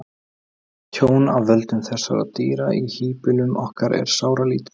Tjón af völdum þessara dýra í híbýlum okkar er sáralítið.